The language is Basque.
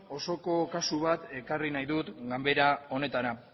osoko kasu bat ekarri nahi dut ganbara honetara